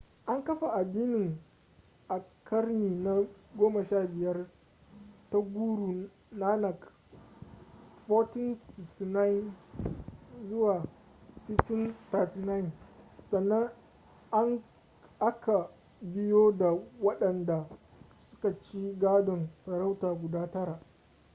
an kafa adinin a karni na 15 ta guru nanak 1469 - 1539. sannan a ka biyo da waɗanda suka ci gadon sarauta guda tara